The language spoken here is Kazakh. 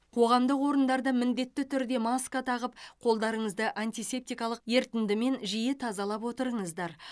қоғамдық орындарда міндетті түрде маска тағып қолдарыңызды антисептикалық ерітіндімен жиі тазалап отырыңыздар